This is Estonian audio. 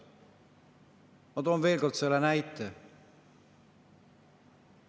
Ma toon veel kord selle näite.